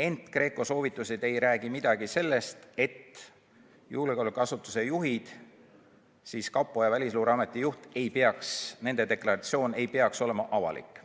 ent GRECO soovitused ei räägi midagi sellest, et julgeolekuasutuste juhtide ehk siis kapo ja Välisluureameti juhi deklaratsioon ei peaks olema avalik.